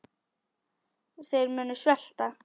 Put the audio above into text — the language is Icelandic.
Þeir munu svelta.